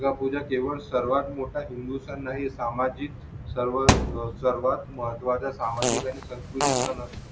दुर्गा पूजा केवळ सर्वात मोठा हिंदू सण नाही सामाजिक सर्व सर्वात महत्वाचे सामाजिक आणि सांस्कृतिक असतो